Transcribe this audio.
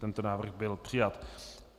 Tento návrh byl přijat.